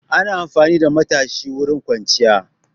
Ana amfani da matashi wurin kwanciya.